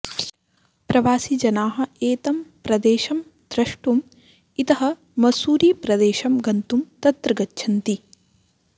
प्रवासिजनाः एतं प्रदेशं द्रष्टुम् इतः मस्सूरीप्रदेशं गन्तुं तत्र गच्छन्ति